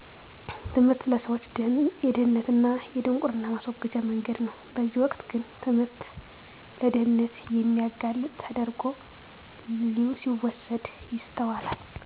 ትምህርት ለሰዎች የድህነት እና የድንቁርና ማስወገጃ መንገድ ነው በዚህ ወቅት ግን ትምህርት ለድህነት የሚያጋልጥ ተደረጉ ሲወሰድ ይስተዋላል